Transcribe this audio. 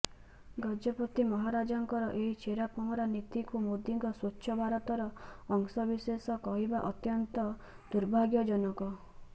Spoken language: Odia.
ଗଜପତି ମହାରାଜଙ୍କର ଏହି ଛେରା ପହଁରା ନୀତିକୁ ମୋଦିଙ୍କ ସ୍ବଚ୍ଛ ଭାରତର ଅଂଶବିଶେଷ କହିବା ଅତ୍ୟନ୍ତ ଦୁର୍ଭାଗ୍ୟଜନକ